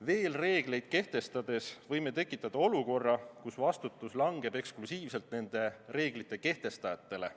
Rohkem reegleid kehtestades võime tekitada olukorra, kus vastutus langeb eksklusiivselt nende reeglite kehtestajatele.